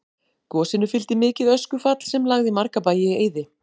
Gosinu fylgdi mikið öskufall sem lagði marga bæi í eyði.